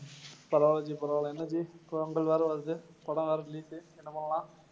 பரவாயில்லை ஜி, பரவாயில்லை என்ன ஜி பொங்கல் வேற வருது படம் வேற release என்ன பண்ணலாம்?